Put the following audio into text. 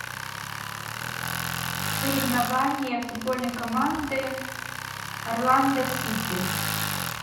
соревнования футбольной команды орландо сити